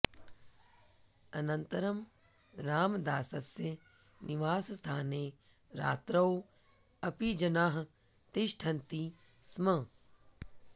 अनन्तरं रामदासस्य निवासस्थाने रात्रौ अपि जनाः तिष्ठन्ति स्म